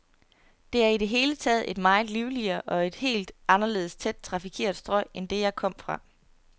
Det er i det hele taget et meget livligere, et helt anderledes tæt trafikeret strøg end det, jeg kom fra.